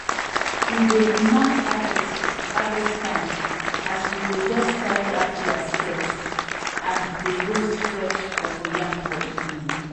we dey b mark harvest harvest timeas we go just tie raffia skirt and dey roast fresh cocoyam for evening